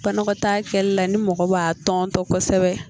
Banakɔtaa kɛlɛli la ni mɔgɔ b'a tɔntɔ kosɛbɛ